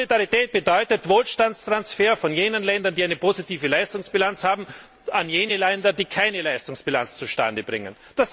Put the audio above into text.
Solidarität bedeutet Wohlstandstransfer von den Ländern, die eine positive Leistungsbilanz haben, an jene Länder, die keine Leistungsbilanz zustande bringen.